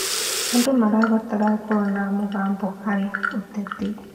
Andũ marabatara gũkorwo na mũgambo harĩ ũteti.